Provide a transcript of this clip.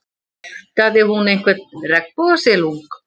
Ræktaði hún einhvern regnbogasilung?